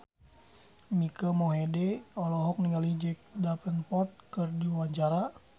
Mike Mohede olohok ningali Jack Davenport keur diwawancara